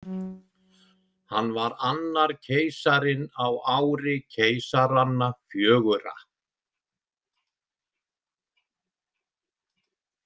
Hann var annar keisarinn á ári keisaranna fjögurra.